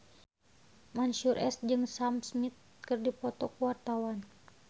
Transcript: Mansyur S jeung Sam Smith keur dipoto ku wartawan